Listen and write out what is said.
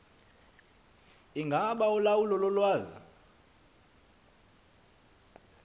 ingaba ulawulo lolwazi